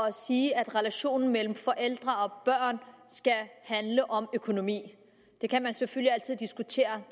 at sige at relationen mellem forældre og børn skal handle om økonomi det kan man selvfølgelig altid diskutere